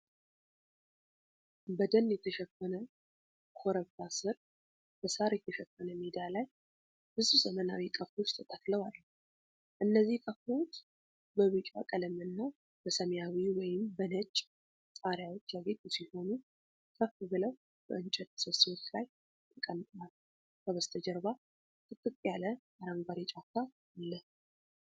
በደን የተሸፈነ ኮረብታ ስር በሳር የተሸፈነ ሜዳ ላይ ብዙ ዘመናዊ ቀፎዎች ተተክለው አሉ። እነዚህ ቀፎዎች በቢጫ ቀለምና በሰማያዊ ወይም በነጭ ጣሪያዎች ያጌጡ ሲሆኑ፣ ከፍ ብለው በእንጨት ምሰሶዎች ላይ ተቀምጠዋል። ከበስተጀርባ ጥቅጥቅ ያለ አረንጓዴ ጫካ አለ።